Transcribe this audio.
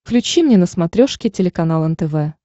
включи мне на смотрешке телеканал нтв